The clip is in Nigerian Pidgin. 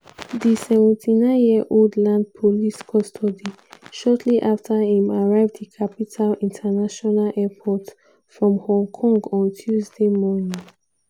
di 79-year-old land police custody shortly afta im arrive di capital international airport from hong kong on tuesday morning.